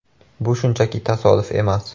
“Bu shunchaki tasodif emas.